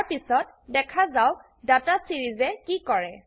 তাৰপিছত দেখা যাওক ডাটা Seriesএ কি কৰে